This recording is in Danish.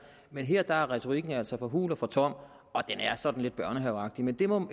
men her er retorikken altså for hul og for tom og den er sådan lidt børnehaveagtig men det må